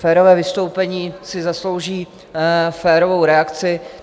Férové vystoupení si zaslouží férovou reakci.